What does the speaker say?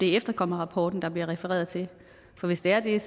er efterkommerrapporten der bliver refereret til for hvis det er det er